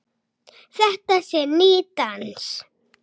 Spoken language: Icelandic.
Þetta sé nýr dans.